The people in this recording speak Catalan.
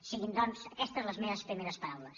siguin doncs aquestes les meves primeres paraules